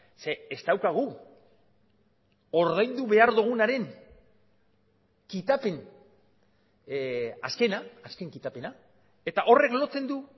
zeren ez daukagu ordaindu behar dugunaren kitapen azkena azken kitapena eta horrek lotzen du